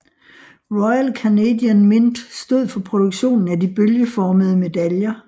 Royal Canadian Mint stod for produktionen af de bølgeformede medaljer